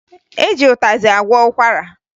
E ji ụtazị agwọ ụkwara